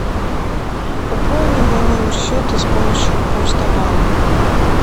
пополни мой номер счета с помощью почта банк